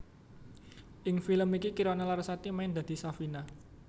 Ing film iki Kirana Larasati main dadi Safina